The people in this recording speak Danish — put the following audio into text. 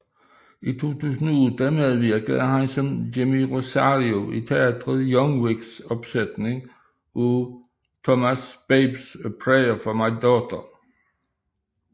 I 2008 medvirkede han som Jimmy Rosario i teatret Young Vics opsætning af Thomas Babes A Prayer For My Daughter